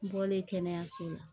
N bɔlen kɛnɛyaso la